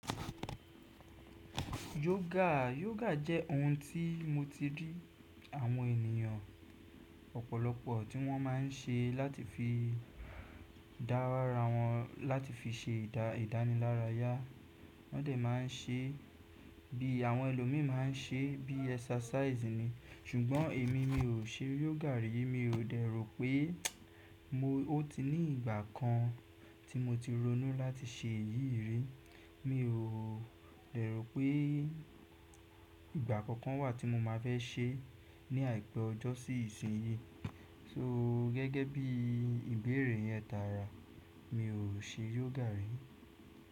Yógà, yógà jẹ́ ohun tí mo ti rí àwọn ènìyàn ọ̀pọ̀lọpọ̀ tí wọ́n máa ń ṣe láti fi dárá wọn láti fi ṣe idavidánilárayá. Wọ́n dẹ̀ máa ń ṣe bí àwọn ẹlòmíì má a ń ṣe, bí exercise ni. Ṣùgbọ́n èmi, mi ò ṣe yógà rí. Mi ò dẹ̀ rò pé mo, o ti ní ìgbà kan tí mo ti ronú láti ṣe èyí rí. Mi ò dẹ̀ rò pé ìgbà kankan wà tí mo máa fẹ́ ṣe ní àìpẹ́ ọjọ́ sí ìsinyí. So, gẹ́gẹ́ bí ìbéèrè yẹn tààrà, mi ò ṣe yógà rí.